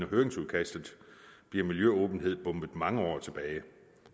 høringsudkastet bliver miljøåbenheden bombet mange år tilbage